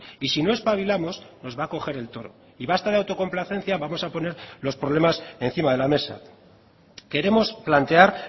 y si no espabilamos nos va a coger el toro y basta de autocomplacencia vamos a poner los problemas encima de la mesa queremos plantear